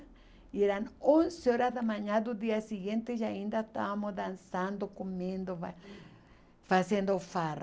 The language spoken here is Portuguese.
E eram onze horas da manhã do dia seguinte e ainda estávamos dançando, comendo, fa fazendo farra.